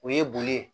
O ye boli ye